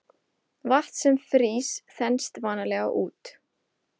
Vatn sem frýs þenst vanalega út.